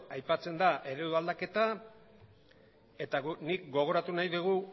aipatzen da eredu aldaketa eta guk gogoratu nahi dugu